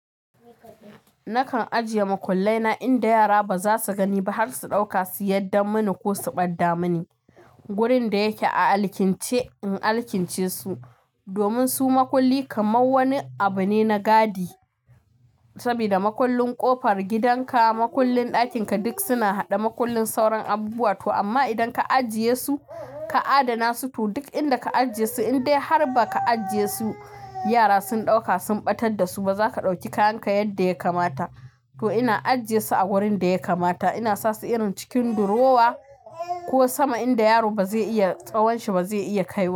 Nakan ajiye makullai na inda yara ba za su gani ba har su ɗauka su yadda muniko su ɓadda muni. Wurin da yake a alkince in alkince su domin su makulli kamar wani abu ne na gadi sabida makullin ƙofar gidanka makullin ɗakin ka duk suna haɗe makullin sauran abubuwa to amma idan ka ajiye su ka adana su to duk inda ka ajiye su indai har ba ka ajiye su yara sun ɗauka sun ɓatar da su ba za ka ɗauki kayan ka yadda ya kamata to ina ajiye su a wurin da ya kamata ina sasu irin cikin durowa ko sama inda yaro ba zai iya tsawon shi ba zai iya kaiwa.